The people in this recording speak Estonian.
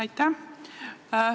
Aitäh!